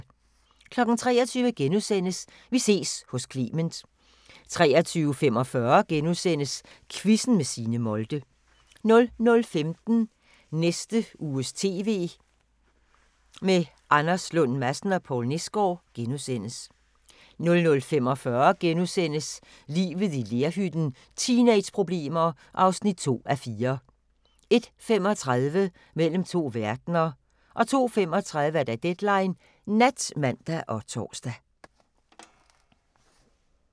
23:00: Vi ses hos Clement * 23:45: Quizzen med Signe Molde * 00:15: Næste uges TV med Anders Lund Madsen og Poul Nesgaard * 00:45: Livet i lerhytten – teenageproblemer (2:4)* 01:35: Mellem to verdener 02:35: Deadline Nat (man og tor)